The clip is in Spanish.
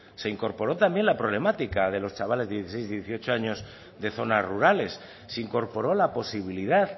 se incorporó también la problemática de los chavales de dieciséis y dieciocho años de zonas rurales se incorporó la posibilidad